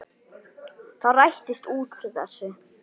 Það rættist úr þessu.